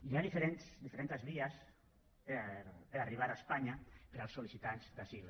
hi ha diferents vies per arribar a espanya per als sol·licitants d’asil